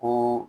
Ko